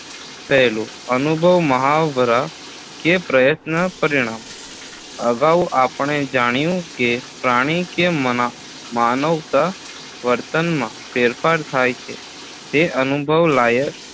પહેલું અનુભવ મહાવરા કે પ્રયત્ન પરિણામ અગાઉ આપણે જાણ્યું કે પ્રાણી કે મના માનવના વર્તનમાં ફેરફાર થાય છે તે અનુભવ લાયક